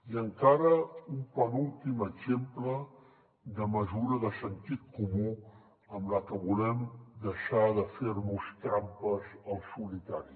i encara un penúltim exemple de mesura de sentit comú amb la que volem deixar de fer nos trampes al solitari